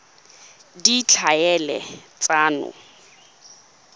ditlhaeletsano